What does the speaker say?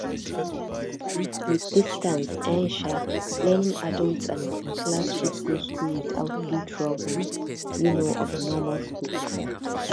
with distance um um learning adults and working class fit go school without do troubles um of normal schools